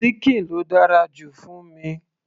síkìn ló dára jù fún mi